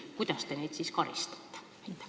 Kuidas te neid karistate?